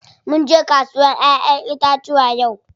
Munje kasuwar ƴaƴen itacuwa yau.